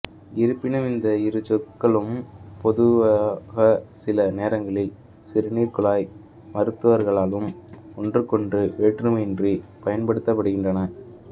இருப்பினும் இந்த இரு சொற்களும் பொதுவாகசில நேரங்களில் சிறுநீர்குழாய் மருத்துவர்களாலும்ஒன்றுக்கொன்று வேற்றுமையின்றி பயன்படுத்தப்படுகின்றன